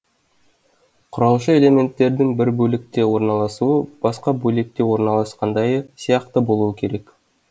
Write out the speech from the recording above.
құраушы элементтердің бір бөлікте орналасуы басқа бөлікте орналасқандайы сияқты болуы керек